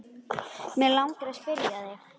Mig langar að spyrja þig.